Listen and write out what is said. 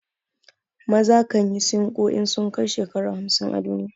Maza kan yi sinƙo in sun kai shekara hamsin a duniya.